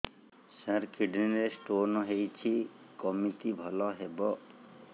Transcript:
ସାର kidney ରେ stone ହେଇଛି କମିତି ଭଲ ହେବ